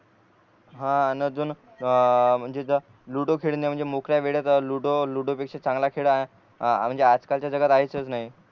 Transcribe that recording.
हा अजून म्हणजे जर लुडो खेळणे म्हणजे मोकड्या वेळेस लुडो लुडो पेक्षा चांगला खेळ अ म्हणजे आज कालच्या जगात आहेतच नाही